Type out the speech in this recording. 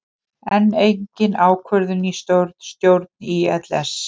Enn engin ákvörðun í stjórn ÍLS